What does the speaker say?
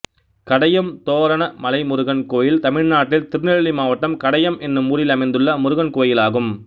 Kadayam Thoranamalai Murugan கோயில் தமிழ்நாட்டில் திருநெல்வேலி மாவட்டம் கடையம் என்னும் ஊரில் அமைந்துள்ள முருகன் கோயிலாகும்